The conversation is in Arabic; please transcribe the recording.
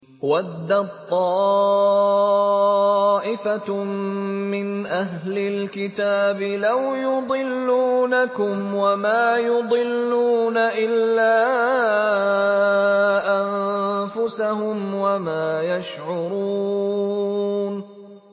وَدَّت طَّائِفَةٌ مِّنْ أَهْلِ الْكِتَابِ لَوْ يُضِلُّونَكُمْ وَمَا يُضِلُّونَ إِلَّا أَنفُسَهُمْ وَمَا يَشْعُرُونَ